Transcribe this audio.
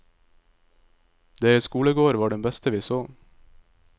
Deres skolegård var den beste vi så.